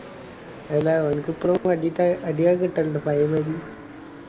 ഓനിക് അടി കിറ്റാലിണ്ട പായെ മായിരി